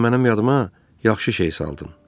Sən mənim yadıma yaxşı şey saldın.